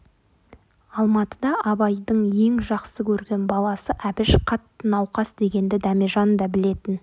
алматыда абайдың ең жақсы көрген баласы әбіш қатты науқас дегенді дәмежан да білетін